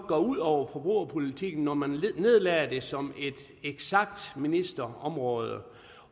gå ud over forbrugerpolitikken når man nedlagde det som et eksakt ministerområde